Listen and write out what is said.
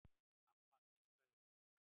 Amma, hvíslaði hún.